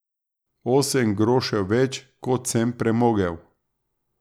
Osem grošev več, kot sem premogel.